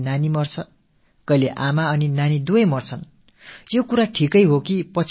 சில வேளைகளில் தாய்சேய் இருவருமே கூட இறந்து விட நேர்கிறது